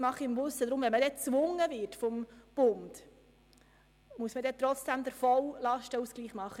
Wenn man schliesslich vom Bund gezwungen wird, muss trotzdem der volle Lastenausgleich vorgenommen werden.